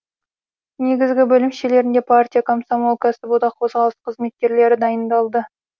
негізгі бөлімшелерінде партия комсомол кәсіподақ қозғалысы қызметкерлері дайындалды